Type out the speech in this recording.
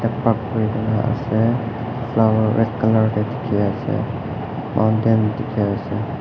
kena ase flower red colour tey dekhe ase mountain dekhe ase.